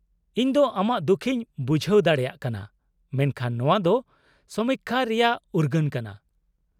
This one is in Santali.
-ᱤᱧᱫᱚ ᱟᱢᱟᱜ ᱫᱩᱠᱷᱤᱧ ᱵᱩᱡᱷᱦᱟᱹᱣ ᱫᱟᱲᱮᱭᱟᱜ ᱠᱟᱱᱟ, ᱢᱮᱱᱠᱷᱟᱱ ᱱᱚᱣᱟ ᱫᱚ ᱥᱚᱢᱤᱠᱠᱷᱟ ᱨᱮᱭᱟᱜ ᱩᱨᱜᱟᱹᱱ ᱠᱟᱱᱟ ᱾